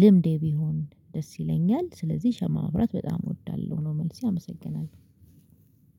ልምዴ ቢሆን ደስ ይለኛል። ስለዚህ ሻማ ማብራት በጣም እወዳለሁ ነው መልሴ አመሰግናለሁ